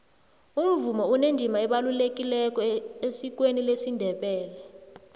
umvumo unendima ebalulekileko esikweni lesindebele